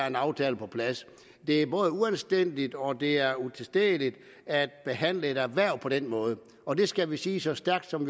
en aftale på plads det er både uanstændigt og det er utilstedeligt at behandle et erhverv på den måde og det skal vi sige så stærkt som